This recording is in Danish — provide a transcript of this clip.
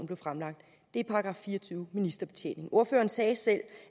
blev fremsat er § fire og tyve ministerbetjening ordføreren sagde selv